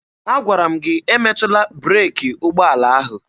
Agwara m gị emetụla breeki ụgbọala ahụ!